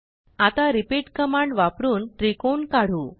आता repeatकमांड वापरून त्रिकोण काढू